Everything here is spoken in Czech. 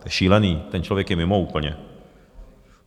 To je šílené, ten člověk je mimo úplně.